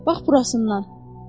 Bax burasından.